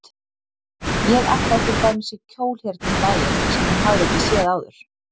Ég ætlaði til dæmis í kjól hérna um daginn sem hún hafði ekki séð áður.